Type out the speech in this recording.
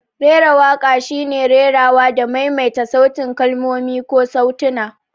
Rera waƙa shine rerawa da maimaita sautin kalmomi ko sautuna.